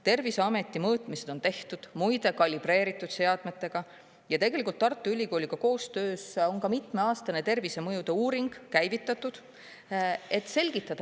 Terviseameti mõõtmised on tehtud muide kalibreeritud seadmetega ja tegelikult Tartu Ülikooliga koostöös on mitmeaastane tervisemõjude uuring käivitatud, et selgitada välja ..